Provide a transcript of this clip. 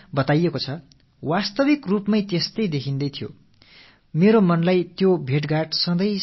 ஒரு வகையில் கடமையுணர்வு மேலோங்கிக் காணப்பட்டது கீதையில் உபதேசிக்கப்பட்ட பற்றற்ற கடமையாற்றுபவர்களின் உருவங்களாக அவர்கள் காட்சியளித்தார்கள்